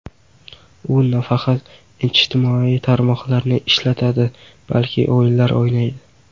U nafaqat ijtimoiy tarmoqlarni ishlatadi, balki o‘yinlar o‘ynaydi.